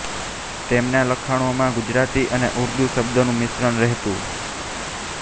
તેમનાં લખાણોમાં ગુજરાતી અને ઉર્દૂ શબ્દોનું મિશ્રણ રહેતું